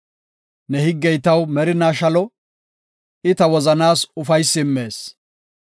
Ne higgey taw merinaa shalo; I ta wozanaas ufaysi immees.